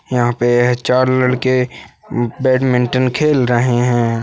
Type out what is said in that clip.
यहाँ पे यह चार लड़के हम्म बॅडमिंटन खेल रहे है।